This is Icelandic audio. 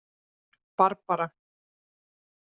Barbara